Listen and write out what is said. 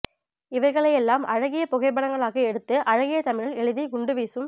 இவைகளையெல்லாம் அழகிய புகைப்படங்களாக எடுத்து அழகிய தமிழில் எழுதி குண்டு வீசும்